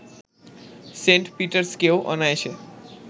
Saint পিটার্সকেও অনায়াসে